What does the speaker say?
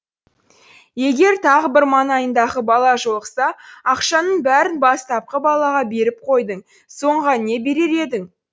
егер тағы бір манайындағы бала жолықса ақшаңның бәрін бастапқы балаға беріп қойдың соңғыға не берер едің